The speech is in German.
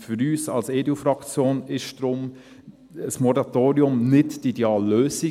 Für uns als EDU-Fraktion ist deshalb ein Moratorium nicht die ideale Lösung.